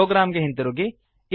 program ಗೆ ಹಿಂತಿರುಗಿ